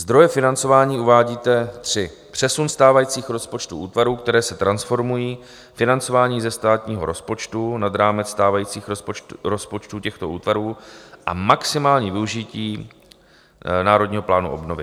Zdroje financování uvádíte tři - přesun stávajících rozpočtů útvarů, které se transformují, financování ze státního rozpočtu nad rámec stávajících rozpočtů těchto útvarů a maximální využití Národního plánu obnovy.